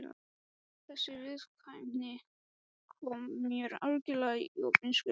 Þessi viðkvæmni kom mér algjörlega í opna skjöldu.